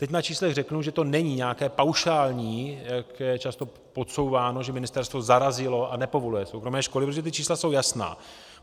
Teď na číslech řeknu, že to není nějaké paušální, jak je často podsouváno, že ministerstvo zarazilo a nepovoluje soukromé školy, protože ta čísla jsou jasná.